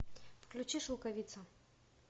включи шелковица